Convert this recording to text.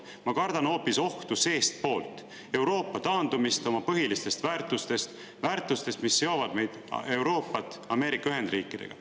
Ma kardan hoopis ohtu seestpoolt, Euroopa taandumist oma põhilistest väärtustest, väärtustest, mis seovad Euroopat Ameerika Ühendriikidega.